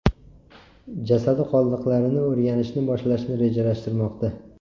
jasadi qoldiqlarini o‘rganishni boshlashni rejalashtirmoqda.